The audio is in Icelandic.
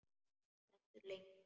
Stendur lengi.